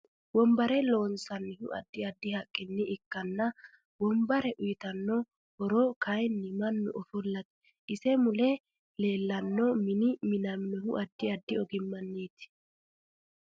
Wonbare loonaanihu addi addi haqqinni ikkana wonbare uyiitanno horo kayiini mannu ofolateeti. ise mule leelanno mini minaminohu addi addi ogimaniiit